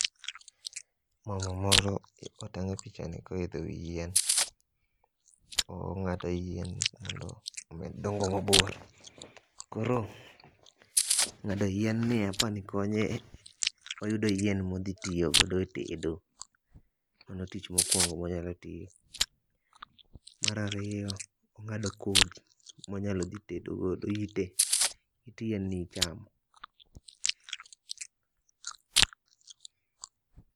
Mama moro otang' e pichani koidho e wi yien. Ong'ado yien mondo omed dongo mabor. Kor ng'ado yien ni apa ni konye oyudo yien mothi tiyogodo e tedo. Mano tich mokwongo monyalo tiyo. Mar ariyo, ong'ado kodhi monyalo dhi tedogogo. Ite. It yien ni ichamo.